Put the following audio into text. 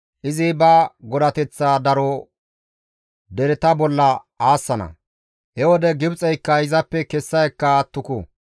Izi ba godateththa daro dereta bolla aassana; he wode Gibxeyka izappe kessa ekka attuku.